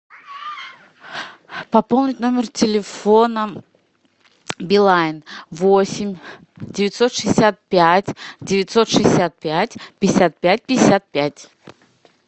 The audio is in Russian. пополнить номер телефона билайн восемь девятьсот шестьдесят пять девятьсот шестьдесят пять пятьдесят пять пятьдесят пять